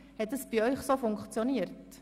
Hat das bei Ihnen so funktioniert?